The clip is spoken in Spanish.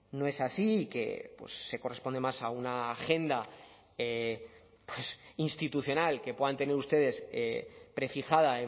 no es así que se corresponde más a una agenda institucional que puedan tener ustedes prefijada